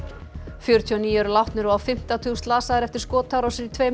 fjörutíu og níu eru látnir og á fimmta tug slasaðir eftir skotárásir í tveimur